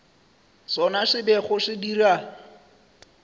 sona se bego se dira